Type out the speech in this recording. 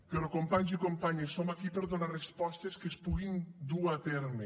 però companys i companyes som aquí per donar respostes que es puguin dur a terme